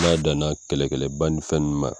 N'a danan kɛlɛ kɛlɛ ba ni fɛn ninnu ma